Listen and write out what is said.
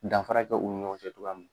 Danfara kɛ u ni ɲɔgɔn cɛ cogoya mun.